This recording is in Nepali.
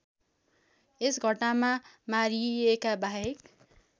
यस घटनामा मारिएकाबाहेक